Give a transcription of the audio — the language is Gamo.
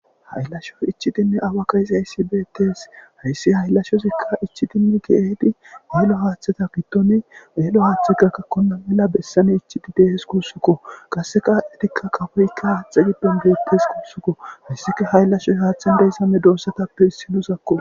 ayllashoy ichidinne awa ka izayssi beettes hayssi hayllashozikka ichidinne geedi maylo haaththata gidtoni eelo haaththikka kakkonna mela bessani ichidi deehes kuussukko qasse kaadhetikka kafoykka haaxe giddon beettes kuussukko hissika hayllashoy haaththen deyssame doossatappe hissinusakko